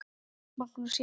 Magnús: Já.